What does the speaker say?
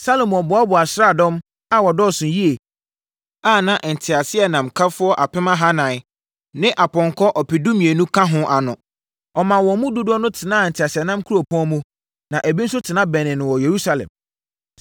Salomo boaboaa asraadɔm a wɔdɔɔso yie a na nteaseɛnamkafoɔ apem ahanan ne apɔnkɔ ɔpedumienu ka ho ano. Ɔmaa wɔn mu dodoɔ no tenaa nteaseɛnam nkuropɔn mu, na ebi nso tena bɛnee no wɔ Yerusalem.